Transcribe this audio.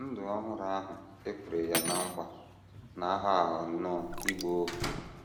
Ndụ ọhụrụ ahụ e kwere ya ná nkwa na - aghọ - aghọ nnọọ ịgba ohu.